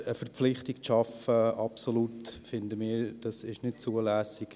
Aber eine Verpflichtung zu schaffen, absolut, finden wir, sei nicht zulässig.